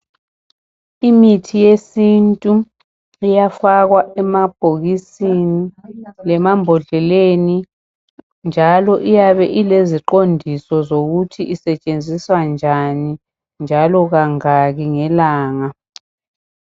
Imithi yesintu iyafakwa emabhokisini lemambodleleni njalo iyabe ileziqondiso zokuthi isetshenziswa njani njalo kangaki ngelanga.